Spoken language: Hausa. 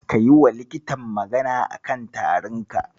Ka yiwa likitan magana a kan tarinka?